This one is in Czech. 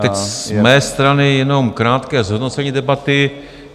Teď z mé strany jenom krátké zhodnocení debaty.